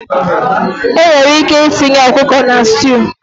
Enwere ike itinye ọkụkọ na stew